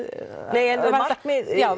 nei en markmið já